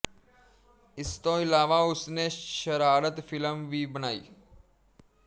ਇਸ ਤੋਂ ਇਲਾਵਾ ਉਸਨੇ ਸ਼ਰਾਰਤ ਫਿਲਮ ਵੀ ਬਣਾਈ